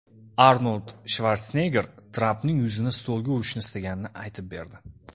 Arnold Shvarsenegger Trampning yuzini stolga urishni istaganini aytib berdi.